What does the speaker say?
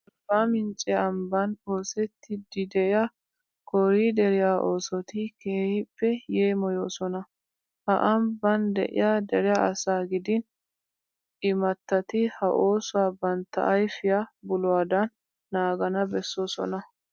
Arbbaa mincce ambban oosettiiddi de'iya kooriideriya oosoti keehippe yeemoyoosona. Ha ambban de'iya dere asaa gidin imattati ha oosuwa bantta ayfiya buluwadan naagana bessoosona.